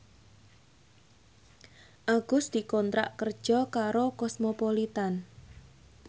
Agus dikontrak kerja karo Cosmopolitan